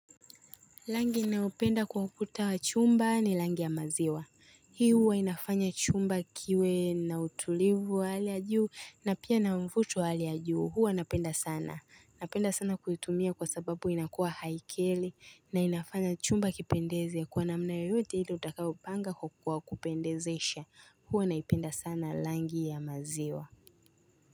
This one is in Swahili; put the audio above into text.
Langi naupenda kwa ukuta wa chumba ni langi ya maziwa Hii huwa inafanya chumba kiwe na utulivu wa hali ya juu na pia na mfuto wa hali ya juu. Huwa napenda sana Napenda sana kuitumia kwa sababu inakuwa haikeli na inafanya chumba kipendeze kwa namna yoyote ili utakaopanga kukua kupendezesha huwa naipenda sana langi ya maziwa.